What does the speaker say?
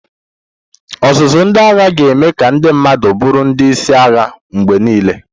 Ọzụzụ ndị agha ga-eme ka ndị mmadụ bụrụ ndị isi agha mgbe niile.